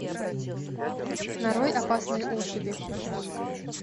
нарой опасные особи